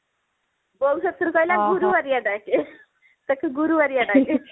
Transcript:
ବୋଉ ସେଥିରେ କହିଲା ଵଗୁରୁବାରିଆ ଡାକେ ତାକୁ ଗୁରୁବାରିଆ ଡାକେ